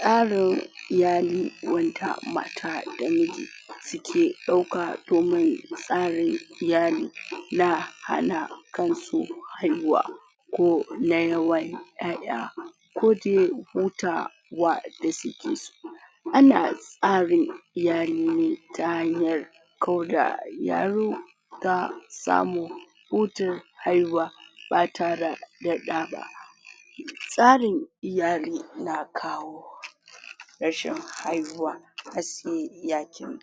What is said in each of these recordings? tsarin iyali wanda mata da miji suke ɗauka domin tsarin iyali na hana kansu haihuwa ko na yawan ƴaƴa ko de hutawa da suke so ana tsarin iyali ne ta hanyar ko da yaro ta samu hutun haihuwa ba tara da ɗa ba tsarin iyali na kawo rashin haihuwa har se ya cire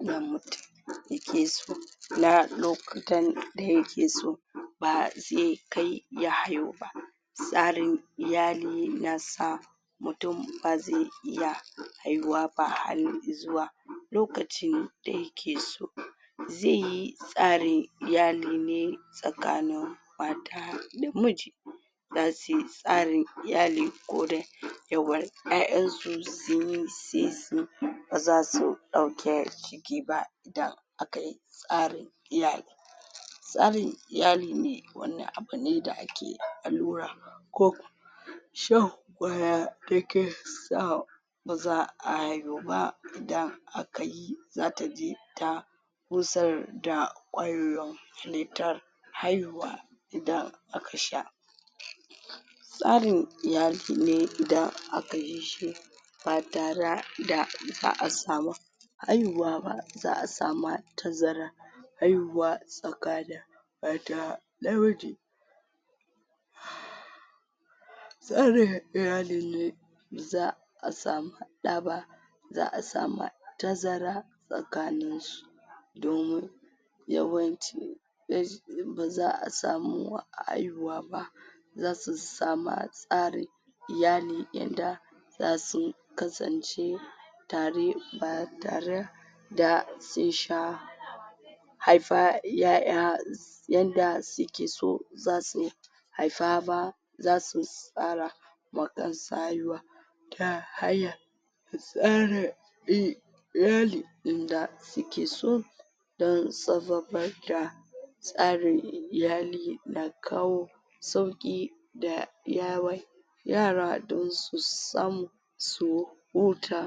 na mutum da ke so na lokutan da yake so ba ze kai ya haihu ba tsarin iyali na sa mutum ba ze iya haihuwa ba har izuwa lokaci da yake so ze yi tsarin iyali ne tsakanin mata da miji zasu yi tsarin iyali ko dai yawan ƴaƴan su sun yi se su ba zasu ɗauke ciki ba idan aka yi tsarin iyali tsarin iyali ne wani abu ne da ake allura ko shan ƙwaya dake sa ba za'a haihu ba idan aka yi zata je ta gusar da ƙwayoyin halitta haihuwa idan aka sha tsarin iyali ne idan aka yi shi ba tara da ba'asa ba haihuwa ba za'a sama tazara haihuwa tsakanin mata da miji tsarin iyalin ne za'a samu ɗa ba za'a samu tazara tsakanin su domin yawanci ba za'a samu haihuwa ba zasu sama tsari iyali yanda zasu kasance tare ba tara da sun sha haifar ƴaƴa yanda suke so zasu haifa ba zasu tsara ma kan su haihuwa ta hanyar tsara iyali inda suke so dan tsarin iyali na kawo sauƙi da yara don su samu su huta.